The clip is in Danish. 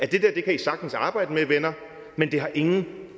det der kan i sagtens arbejde med venner men det har ingen